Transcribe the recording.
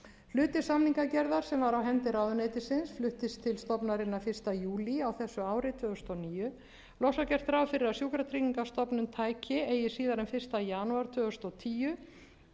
hluti samningagerðar sem var á hendi ráðuneytisins fluttist til stofnunarinnar á þessu ári fyrsta júlí tvö þúsund og níu loks var gert ráð fyrir að sjúkratryggingastofnun tæki eigi síðar en fyrsta janúar tvö þúsund og tíu